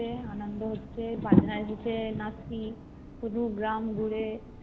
আনন্দ হচ্ছে বাজনার মাঝে নাচছি পুরো গ্রাম ঘুরে এসেছে